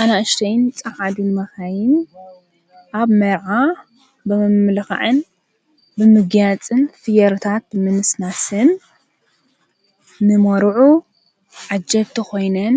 ኣናእሽተይን ፃዓዱን መኻይን ኣብ መርዓ ብመምልኻዕን ብምግያፅን ፍዮሪታት ብምንስናስን ንሞሩዑ ዓጀብቲ ኾይነን